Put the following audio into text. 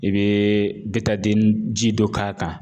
I bɛ ji dɔ k'a kan.